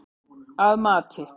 Að mati